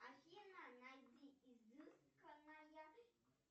афина найди изысканная